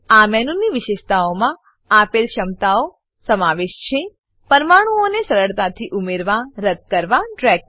આ મેનુની વિશેષતાઓમાં આપેલ ક્ષમતાનો સમાવેશ છે પરમાણુઓને સરળતાથી ઉમેરવા રદ્દ કરવા ડ્રેગ કરવા